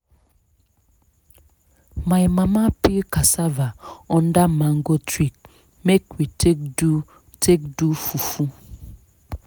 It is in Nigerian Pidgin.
my mama peel casava under mango tree make we take do take do fufu.